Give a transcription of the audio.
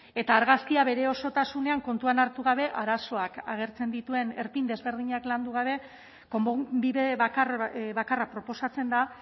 eta argazkia bere osotasunean kontuan hartu gabe arazoak agertzen dituen erpin desberdinak landu gabe bide bakarra proposatzen da